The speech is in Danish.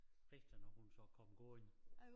Rigtig når hun så kom gående